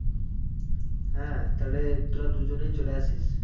হ্যাঁ তাহলে তোরা দুজনেই চলে আসিস